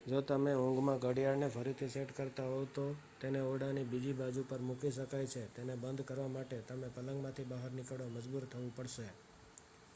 જો તમે ઊંઘમાં ઘડિયાળને ફરીથી સેટ કરતા હોવ તો તેને ઓરડાની બીજી બાજુ પર મૂકી શકાય છે તેને બંધ કરવા માટે તમને પલંગમાંથી બહાર નીકળવા મજબૂર થવું પડશે